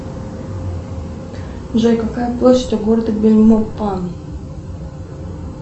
джой какая площадь у города бельмопан